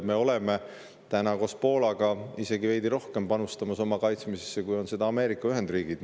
Me oleme koos Poolaga isegi veidi rohkem panustamas oma kaitsmisesse, kui seda teevad Ameerika Ühendriigid.